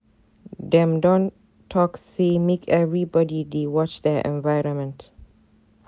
Dem don talk say make everybodi dey watch their environment.